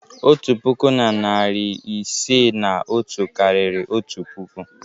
Otu puku na narị isii na otu karịrị otu puku.